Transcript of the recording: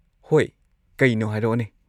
ꯍꯣꯏ, ꯀꯩꯅꯣ ꯍꯥꯏꯔꯛꯑꯣꯅꯦ꯫